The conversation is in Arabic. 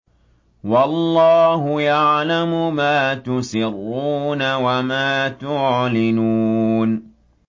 وَاللَّهُ يَعْلَمُ مَا تُسِرُّونَ وَمَا تُعْلِنُونَ